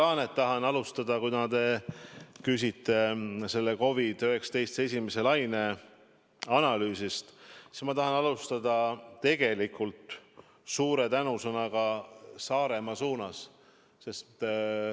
Härra Laanet, kuna te küsite COVID-19 esimese laine analüüsi kohta, siis ma tahan alustada tegelikult suure tänuga Saaremaa suunas.